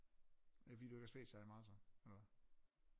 Er det fordi du ikke har svedt særlig meget så eller hvad